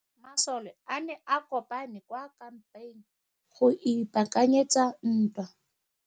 Masole a ne a kopane kwa kampeng go ipaakanyetsa ntwa.